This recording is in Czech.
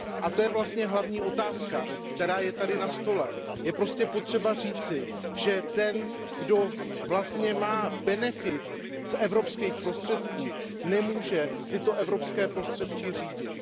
To je vlastně hlavní otázka, která je zde na stole, je třeba říci, že ten, kdo má benefit z evropských prostředků, nemůže tyto evropské prostředky řídit.